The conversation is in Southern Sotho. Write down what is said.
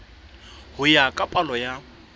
ho ya ka palo ya